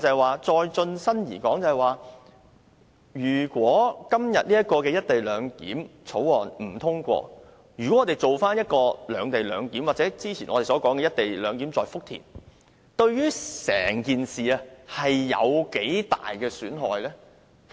我剛才也提到，如果今天這項《條例草案》不獲通過，我們進行"兩地兩檢"安排，或者我們之前說的"一地兩檢"在福田，對於整件事有多大損害呢？